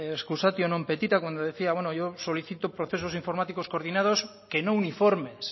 excusatio non petita cuando decía bueno yo solicito procesos informáticos coordinados que no uniformes